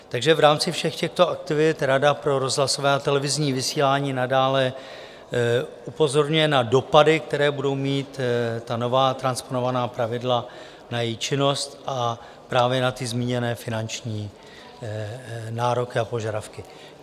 Takže v rámci všech těchto aktivit Rada pro rozhlasové a televizní vysílání nadále upozorňuje na dopady, které budou mít ta nová transponovaná pravidla na její činnost a právě na ty zmíněné finanční nároky a požadavky.